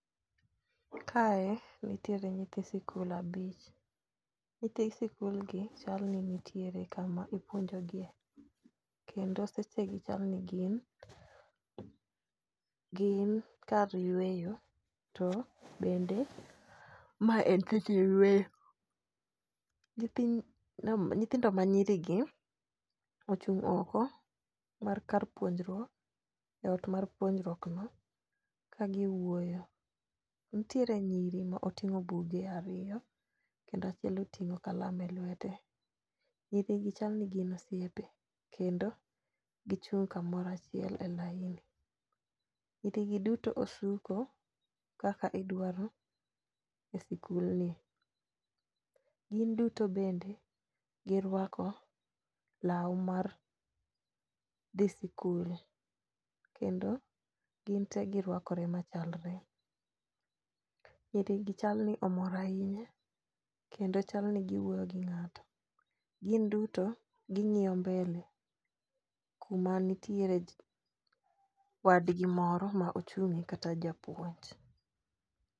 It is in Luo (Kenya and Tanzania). Kae nitiere nyithi sikul abich. Nyithi sikul gi, chal ni nitiere kama ipuonjogie kendo seche gi aparo ni gin gin kar yweyo to bende ma en seche yweyo. Nyithindo manyirigi ochung' oko mar ka puonjruok eot mar puonjruok no kagiwuoyo. Nitiere nyiri ma oting'o buge ariyo kendo achiel oting'o kalam e lwete giduto gichal ni gin osiepe kendo gichung' kamoro achiel e laini. Nyiri gi duto osuko kaka idwaro e sikulno, gin duto bende giruako lae mar dhi sikul kendo gin te giruakore machalre. Nyiri gi chal ni omor ahinya kendo chal ni giwuoyo gi ng'ato. Gin duto ging'iyo mbele kmanitiere wadgi moro ma ochung' kata japuonj.